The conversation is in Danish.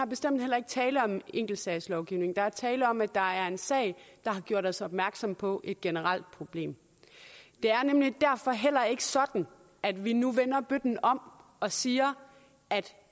bestemt heller ikke tale om enkeltsagslovgivning der er tale om at der er en sag der har gjort os opmærksomme på et generelt problem det er nemlig derfor heller ikke sådan at vi nu vender bøtten om og siger at